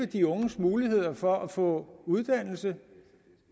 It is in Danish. de unges muligheder for at få uddannelse